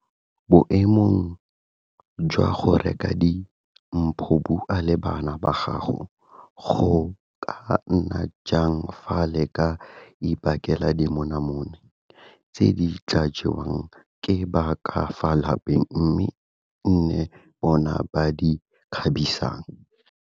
Boemong jwa go reka di mpho bua le bana ba gago gore go ka nna jang fa le ka ibakela dimonamone tse di tla jewang ke ba ka fa lapeng mme e nne bona ba di kgabisang.